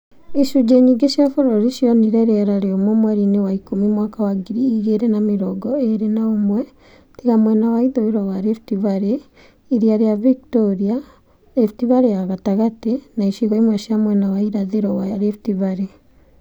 Icunji͂ nyingi͂ cia bu͂ru͂rini͂ cionire ri͂era ri͂umu͂ mweri-ini͂ wa Oktoba mwaka wa ngiri igi͂ri͂ na mi͂rongo i͂ i͂ri͂ na u͂mwe, tiga mwena wa ithu͂i͂ ro wa Rift Valley, iria ri͂a Victoria, Central Rift Valley na icigo imwe cia mwena wa irathi͂ ro wa Rift Valley.